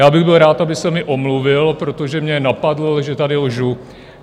Já bych byl rád, aby se mi omluvil, protože mě napadl, že tady lžu.